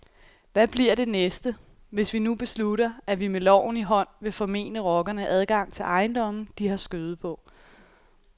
Hvad bliver det næste, hvis vi nu beslutter, at vi med loven i hånd vil formene rockerne adgang til ejendomme, de har skøde på.